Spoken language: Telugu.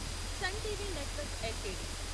sun TV network LTD